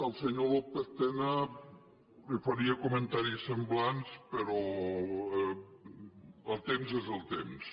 al senyor lópez tena li faria comentaris semblants però el temps és el temps